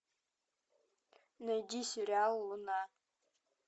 найди сериал луна